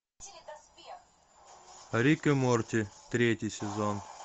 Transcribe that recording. рик и морти третий сезон